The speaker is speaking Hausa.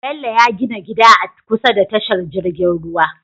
Bello ya gina gida a kusa da tashar jirgin ruwa